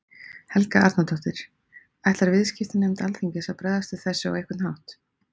Helga Arnardóttir: Ætlar viðskiptanefnd Alþingis að bregðast við þessu á einhvern hátt?